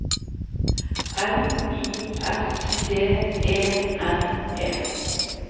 L I S T E N E